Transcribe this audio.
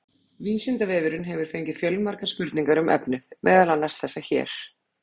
Vísindavefurinn hefur fengið fjölmargar spurningar um efnið, meðal annars þessar hér: